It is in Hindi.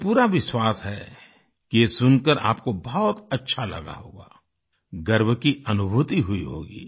मुझे पूरा विश्वास है कि ये सुनकर आपको बहुत अच्छा लगा होगा गर्व की अनुभूति हुई होगी